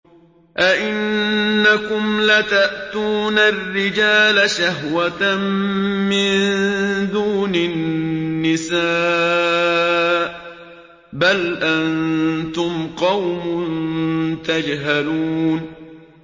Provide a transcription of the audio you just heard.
أَئِنَّكُمْ لَتَأْتُونَ الرِّجَالَ شَهْوَةً مِّن دُونِ النِّسَاءِ ۚ بَلْ أَنتُمْ قَوْمٌ تَجْهَلُونَ